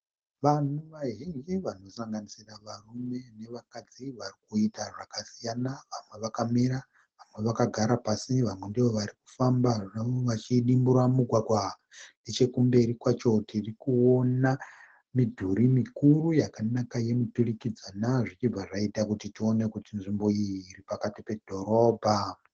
Vanhu vazvinji varikusanganisira varume nevakadzi varikuita zvakasiyana vamwe vakamira, vamwe vakagara pasi vamwe ndovarikufamba zvavo vachidimbura mugwagwa. Nechekumberi kwacho tirikuona midhuri mikuru yakanaka yemturikidzanwa zvichibva zvaita kuti tione kuti nzvimbo iyi iripakati pedhorobha.